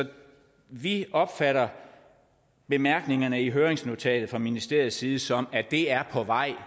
vi opfatter bemærkningerne i høringsnotatet fra ministeriets side som at det er på vej